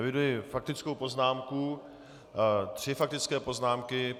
Eviduji faktickou poznámku, tři faktické poznámky.